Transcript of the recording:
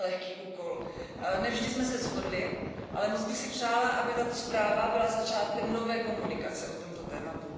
Neměl lehký úkol, ne vždy jsme se shodli, ale moc bych si přála, aby tato zpráva byla začátkem nové komunikace o tomto tématu.